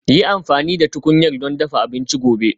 Yi amfani da tukunyar don dafa abinci gobe